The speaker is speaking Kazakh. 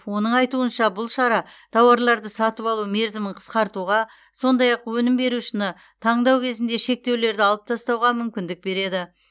оның айтуынша бұл шара тауарларды сатып алу мерзімін қысқартуға сондай ақ өнім берушіні таңдау кезінде шектеулерді алып тастауға мүмкіндік береді